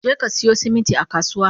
Jeka siyo siminti a kasuwa!